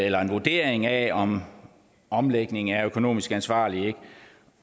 eller en vurdering af om en omlægning er økonomisk ansvarlig